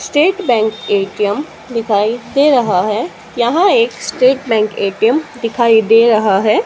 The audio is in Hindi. स्टेट बैंक ए_टी_एम दिखाई दे रहा है यहां एक स्टेट बैंक ए_टी_एम दिखाई दे रहा है।